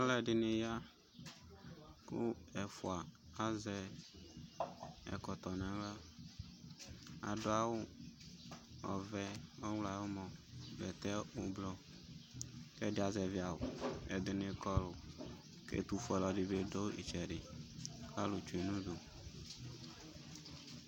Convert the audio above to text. Alʋ ɛdɩnɩ ya, kʋ ɛfʋa azɛ ɛkɔtɔ naɣla; adʋ awʋ ɔvɛ nʋ ɔɣlɔ ayʋ ʋmɔ, bɛtɛ ʋblɔ, kɛdɩ azɛvɩ awʋ, kɛdɩnɩ kɔlʋ, kɛtʋ fue alʋ wanɩ bɩ tsue nɩtsɛdɩ ,alʋ tsue nudu